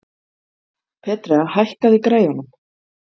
Petrea, hækkaðu í græjunum.